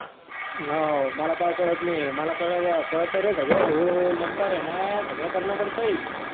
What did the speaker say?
हाव मला काही काळत नाही. मला काळत रे सगळ भाऊ नंतर न सगळ कारण पडतय